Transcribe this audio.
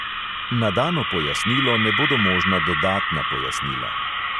Na dano pojasnilo ne bodo možna dodatna pojasnila.